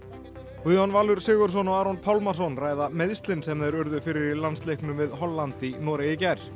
Guðjón Valur Sigurðsson og Aron Pálmarsson ræða meiðslin sem þeir urðu fyrir í landsleiknum við Holland í Noregi í gær